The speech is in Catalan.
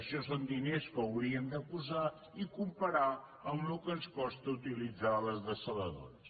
això són diners que haurien de posar i comparar ho amb el que ens costa utilitzar les dessaladores